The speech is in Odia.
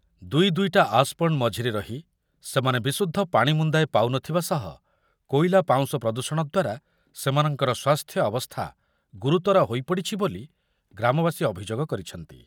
ଦୁଇ ଦୁଇଟା ଆସ୍‌ପଣ୍ଡ୍ ମଝିରେ ରହି ସେମାନେ ବିଶୁଦ୍ଧ ପାଣି ମୁନ୍ଦାଏ ପାଉନଥିବା ସହ କୋଇଲା ପାଉଁଶ ପ୍ରଦୂଷଣ ଦ୍ୱାରା ସେମାନଙ୍କର ସ୍ୱାସ୍ଥ୍ୟ ଅବସ୍ଥା ଗୁରୁତର ହୋଇପଡ଼ିଛି ବୋଲି ଗ୍ରାମବାସୀ ଅଭିଯୋଗ କରିଛନ୍ତି।